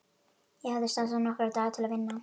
Ég hafði stansað nokkra daga til að vinna.